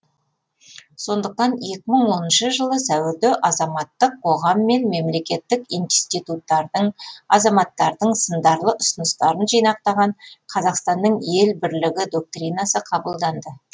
сондықтан екі мың оныншы жылы сәуірде азаматтық қоғам мен мемлекеттік институттардың азаматтардың сындарлы ұсыныстарын жинақтаған қазақстанның ел бірлігі доктринасы қабылданды